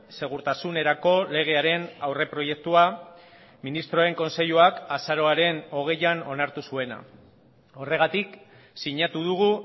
segurtasunerako legearen aurreproiektua ministroen kontseiluak azaroaren hogeian onartu zuena horregatik sinatu dugu